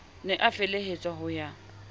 ne a felehetswa ho ya